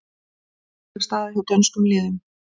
Alvarleg staða hjá dönskum liðum